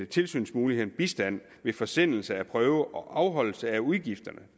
tilsynsmyndighederne bistand ved forsendelse af prøver og afholdelse af udgifterne